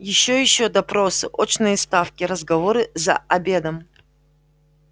ещё ещё допросы очные ставки разговоры за обедом